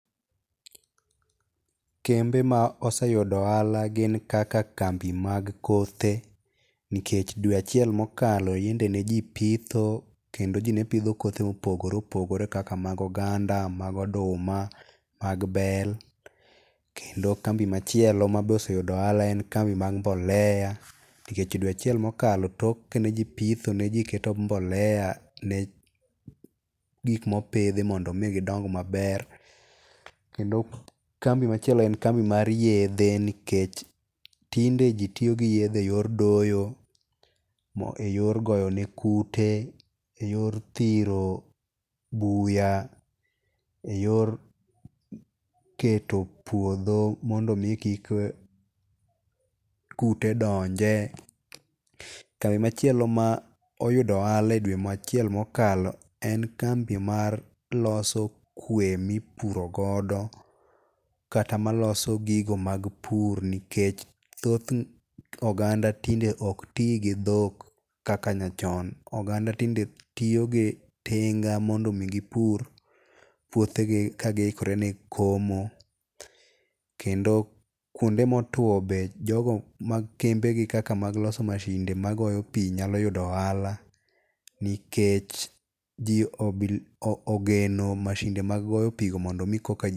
Kembe ma oseyudo ohala gin kaka kambi mag kothe, nikech dwe achiel mokalo yande ne ji pitho, kendo ji nepidho kothe mopogore opogore kaka mag oganda, mag oduma, mag bel. Kendo kambi machielo ma be oseyudo ohala en kambi mag mbolea, nikech dwe achiel mokalo tok kane ji pitho ne ji keto mbolea ne gik mopidhi mondo mi gidong maber. Kendo kambi machielo en kambi mar yedhe, nikech tinde ji tiyo gi yedhe e yor doyo, e yor goyo ne kute, e yor thiro buya, e yor keto puodho mondo omi kik kute donje. Kambi machielo ma oyudo ohala e dwe achiel mokalo en kambi mar loso kwer mipuro godo, kata maloso gigo mar pur nikech thoth oganda tinde okti gi dhok kaka nyachon. Oganda tinde tiyo gi tinga mondo mi gipur puothe gi ka gi ikore ne komo. Kendo kuonde ma otwo be jogo mag kembe gi kaka mag loso mashinde magoyo pii nyalo yudo ohala, nikech ji ogeno mashinde mag goyo pii go mondo mi koka...